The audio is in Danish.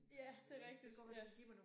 Ja det rigtigt ja